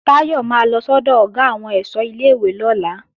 Táyọ̀ máa lọ sọ́dọ̀ Ọ̀gá àwọn ẹ̀ṣọ́ ilé-ìwé lọ́la